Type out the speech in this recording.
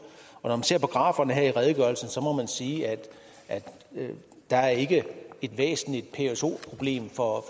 og ser på graferne her i redegørelsen må man sige at der ikke er et væsentligt pso problem for